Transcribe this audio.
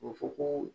O fɔ ko